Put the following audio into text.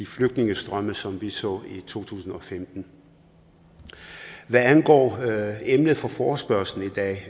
flygtningestrømme som dem vi så i to tusind og femten hvad angår emnet for forespørgslen i dag